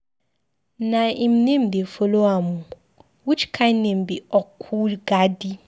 Na im name dey follow am oo. Which kin name be Okwugadi?